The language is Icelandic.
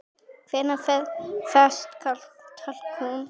Hvar fæst talkúm?